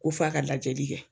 Ko f'a ka lajɛli kɛ